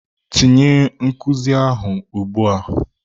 Tinye nkuzi ahụ ugbu a!